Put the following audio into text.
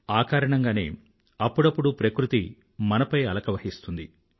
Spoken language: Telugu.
ఆ కారణంగానే అప్పుడప్పుడు ప్రకృతి మనపై అలక వహిస్తుంది